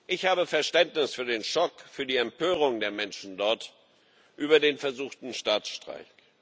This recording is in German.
Ich habe Verständnis für den Schock, für die Empörung der Menschen dort über den versuchten Staatsstreich.